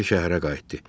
Kiber şəhərə qayıtdı.